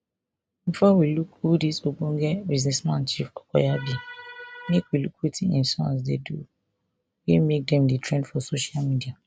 bifor we look who dis ogbonge businessman chief okoya be make we look wetin im sons do wey make dem dey trend for social media